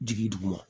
Jigi duguma